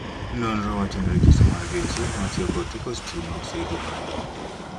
Nonro wachoni rejesta mar geche matiyo kod teko sitima oseidho malo.